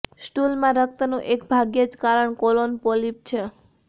સ્ટૂલમાં રક્તનું એક ભાગ્યે જ કારણ કોલોન પોલીપ છે